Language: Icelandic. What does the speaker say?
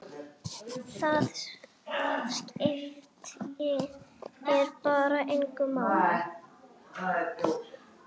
Það skiptir bara engu máli.